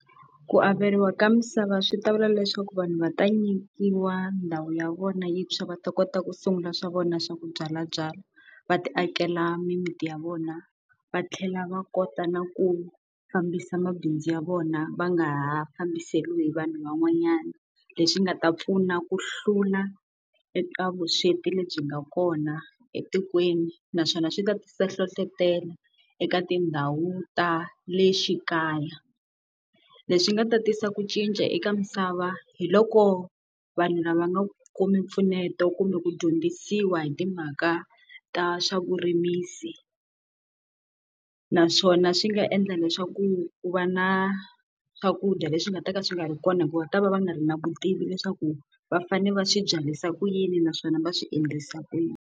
Ku averiwa ka misava swi ta vula leswaku vanhu va ta nyikiwa ndhawu ya vona yintshwa va ta kota ku sungula swa vona swa ku byalabyala, va ti akela mimiti ya vona va tlhela va kota na ku fambisa mabindzu ya vona va nga ha fambisiwa hi vanhu van'wanyana. Leswi nga ta pfuna ku hlula eka vusweti lebyi nga kona etikweni naswona swi ta tisa hlohletelo eka tindhawu ta le xikaya. Leswi nga ta tisa ku cinca eka misava hi loko vanhu lava nga kumi mpfuneto kumbe ku dyondzisiwa hi timhaka ta swa vurimisi. Naswona swi nga endla leswaku ku va na swakudya leswi nga ta ka swi nga ri kona hikuva ku ta va va nga ri na vutivi leswaku va fanele va swi byarisa ku yini naswona va swi endlisa ku yini.